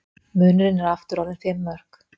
Munurinn er aftur orðinn fimm mörk